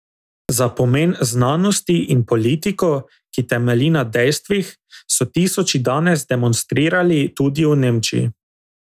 Za pomen znanosti in politiko, ki temelji na dejstvih, so tisoči danes demonstrirali tudi v Nemčiji.